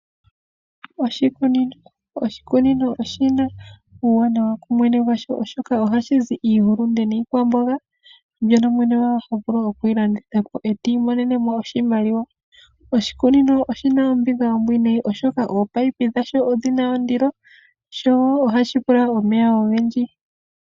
Oshikunino oshina uuwanawa kumwene gwasho oshoka ohashi iihulunde niikwamboga , mbyono mwene gwawo tavulu okuyilandithapo eti imonenemo oshimaliwa . Oshikunino oshina ombinga oombwiinayi ominino dhasho odhina ondilo, dho ohadhi pula omeya ogendji.